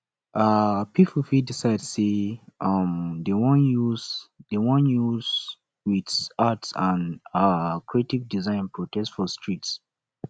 um pipo fit decide say um dem won use dem won use with arts and um creative designs protest for streets